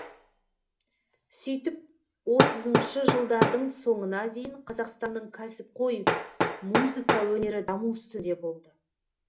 сөйтіп отызыншы жылдардың соңына дейін қазақстанның кәсіпқой музыка өнері даму үстінде болды